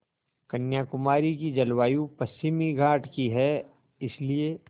कन्याकुमारी की जलवायु पश्चिमी घाट की है इसलिए